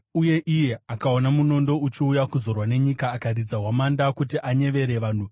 uye iye akaona munondo uchiuya kuzorwa nenyika akaridza hwamanda kuti anyevere vanhu,